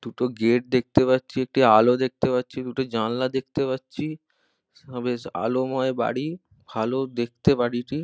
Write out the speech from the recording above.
দুটো গেট দেখতে পাচ্ছি একটি আলো দেখতে পাচ্ছি দুটি জানলা দেখতে পাচ্ছি বেশ আলোময় বাড়ি ভালো দেখতে বাড়িটি।